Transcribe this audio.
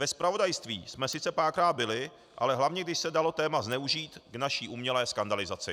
Ve zpravodajství jsme sice párkrát byli, ale hlavně když se dalo téma zneužít k naší umělé skandalizaci.